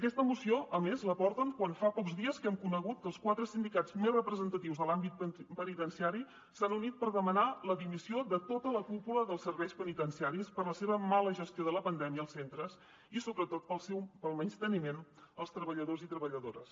aquesta moció a més la porten quan fa pocs dies que hem conegut que els quatre sindicats més representatius de l’àmbit penitenciari s’han unit per demanar la dimissió de tota la cúpula dels serveis penitenciaris per la seva mala gestió de la pandèmia als centres i sobretot pel menysteniment als treballadors i treballadores